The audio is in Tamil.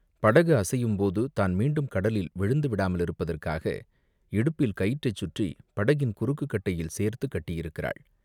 படகு அசையும்போது, தான் மீண்டும் கடலில் விழுந்து விடாமலிருப்பதற்காக இடுப்பில் கயிற்றைச் சுற்றிப் படகின் குறுக்குக் கட்டையில் சேர்த்துக் கட்டியிருக்கிறாள்.